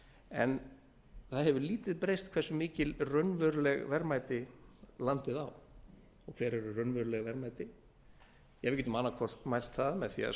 en það hefur lítið breyst hversu mikil raunveruleg verðmæti landið á og hver eru raunveruleg verðmæti við getum annaðhvort mælt það með því að